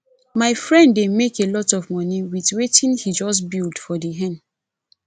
my friend dey make a lot of money with wetin he just build for the hen